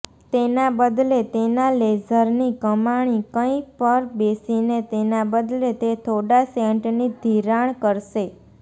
તેના બદલે તેના લેઝરની કમાણી કંઇ પર બેસીને તેના બદલે તે થોડા સેન્ટની ધિરાણ કરશે